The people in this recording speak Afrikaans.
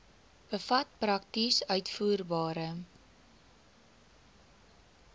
bevat prakties uitvoerbare